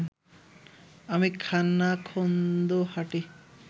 আমি খানাখন্দো হাঁটি